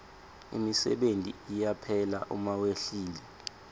imisebenti iyaphela uma wehlile